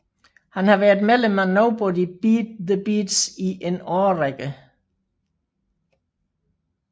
Han har været medlem af Nobody Beat The Beats i en årrække